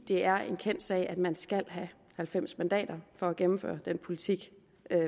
det er en kendt sag at man skal have halvfems mandater for at gennemføre den politik